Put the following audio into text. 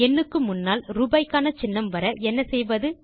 எண்ணுக்கு முன்னால் ரூபாய்க்கான சின்னம் வர என்ன செய்வது